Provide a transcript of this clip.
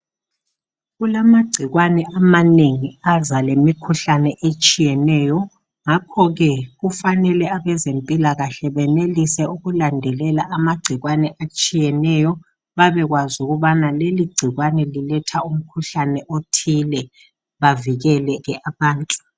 Kulamagcikwane amanengi aza lemikhuhlane etshiyeneyo ngakho ke kufanele abezempilakahle benelise ukulandelela amagcikwane atshiyeneyo babekwazi ukubana leligcikwane liletha umkhuhlane othile bavikele ke abantu.